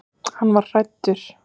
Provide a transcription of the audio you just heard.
Ekki var hann hræddur.